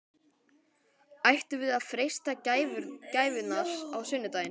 Ættum við að freista gæfunnar á sunnudaginn?